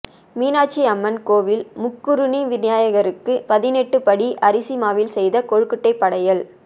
மீனாட்சி அம்மன் கோவில் முக்குறுணி விநாயகருக்கு பதினெட்டு படி அரிசி மாவில் செய்த கொழுக்கட்டை படையல்